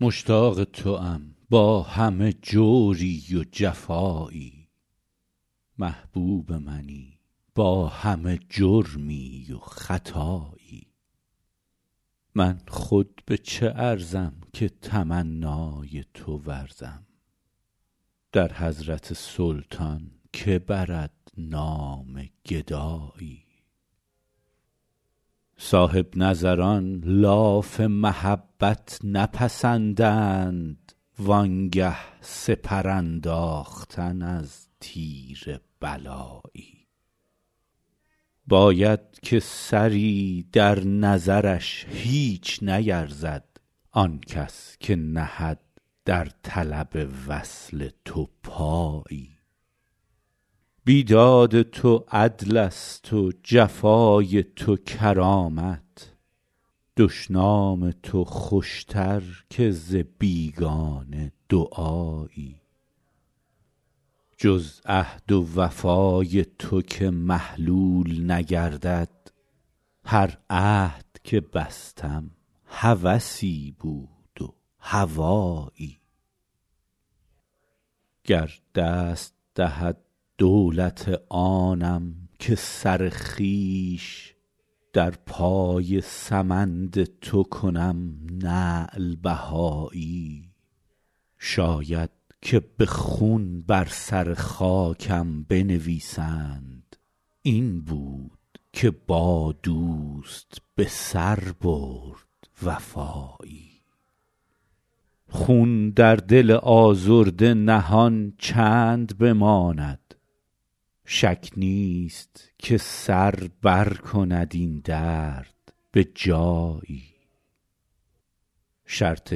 مشتاق توام با همه جوری و جفایی محبوب منی با همه جرمی و خطایی من خود به چه ارزم که تمنای تو ورزم در حضرت سلطان که برد نام گدایی صاحب نظران لاف محبت نپسندند وان گه سپر انداختن از تیر بلایی باید که سری در نظرش هیچ نیرزد آن کس که نهد در طلب وصل تو پایی بیداد تو عدلست و جفای تو کرامت دشنام تو خوشتر که ز بیگانه دعایی جز عهد و وفای تو که محلول نگردد هر عهد که بستم هوسی بود و هوایی گر دست دهد دولت آنم که سر خویش در پای سمند تو کنم نعل بهایی شاید که به خون بر سر خاکم بنویسند این بود که با دوست به سر برد وفایی خون در دل آزرده نهان چند بماند شک نیست که سر برکند این درد به جایی شرط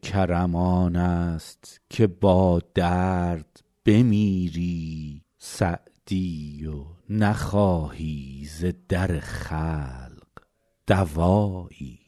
کرم آنست که با درد بمیری سعدی و نخواهی ز در خلق دوایی